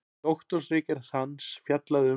Doktorsritgerð hans fjallaði um